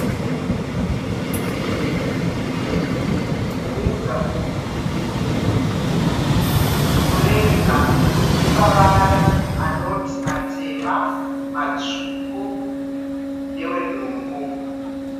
Mureza uyu, mureza une mavara anoti matema, matsvuku newenungu.